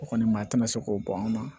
O kɔni maa tina se k'o ban